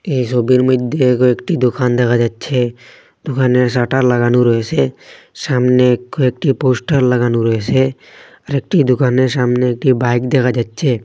এই সবির মইধ্যে কয়েকটি দোকান দেখা যাচ্ছে দোকানের শাটার লাগানো রয়েসে সামনে কয়েকটি পোস্টার লাগানো রয়েসে আর একটি দোকানের সামনে একটি বাইক দেখা যাচ্ছে।